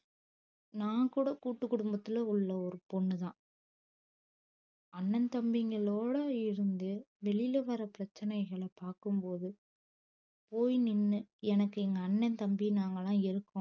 நான் கூட கூட்டுக்குடும்பத்துள உள்ள ஒரு பொண்ணு தான் அண்ணன் தம்பிங்களோட இருந்து வெளில வர பிரச்சனைகள பாக்கும் போது போய் நின்னு எனக்கு எங்க அண்ணன் தம்பி நாங்களா இருக்கோ